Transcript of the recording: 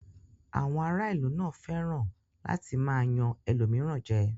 Àwọn ará ìlú náà fẹ́ràn láti máa yan ẹlòmíràn jẹ.